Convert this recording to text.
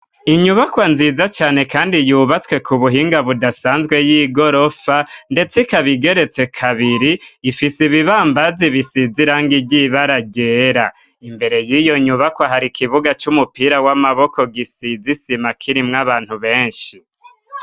Inyubakwa nziza cane, kandi yubatswe ku buhinga budasanzwe y'i gorofa, ndetse ikabigeretse kabiri ifise ibibambazi bisizirango iryibara ryera imbere y'iyo nyubakwa hari ikibuga c'umupira w'amaboko gisizisima kirimwo abantu benshi.